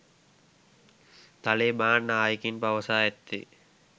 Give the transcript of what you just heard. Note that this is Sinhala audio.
ත‍ලේබාන් නායකයින් පවසා ඇත්තේ